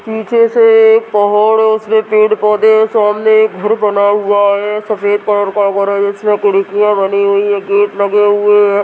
निचे से एक पहाड़ है उसमे पेड़-पोधे हैं सामने एक घर बना हुआ है सफ़ेद कलर का घर है जिसमे खिड़कियां बनी हुई हैं गेट लगे हुए हैं।